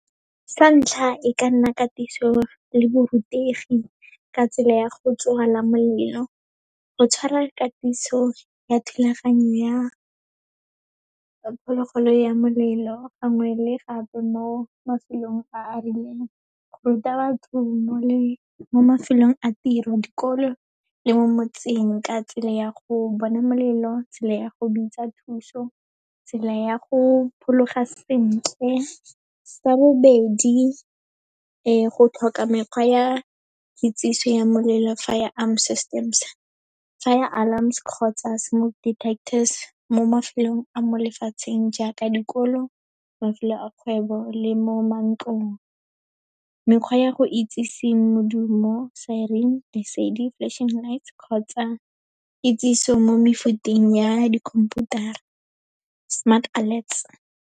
Sa ntlha, e ka nna katiso le borutegi ka tsela ya go tswala molelo, go tshwara katiso ya thulaganyo ya phologolo ya molelo, gangwe le gape mo mafelong a a rileng, go ruta batho mo mafelong a tiro, dikolo le mo motseng ka tsela ya go bona molelo, tsela ya go bitsa thuso, tsela ya go phologa sentle. Sa bobedi, go tlhoka mekgwa ya kitsiso ya molelo, firearm systems, fire alarms kgotsa smoke detectors, mo mafelong a mo lefatsheng jaaka dikolo, mafelo a kgwebo, le mo mantlong. Mekgwa ya go itsisi modumo, siren, lesedi, flashing lights kgotsa kitsiso mo mefuteng ya dikhomputara, smart alerts.